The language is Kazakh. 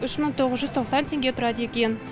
үш мың тоғыз жүз тоқсан теңге тұрады екен